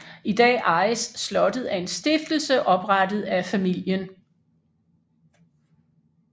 I dag ejes slottet af en stiftelse oprettet af familien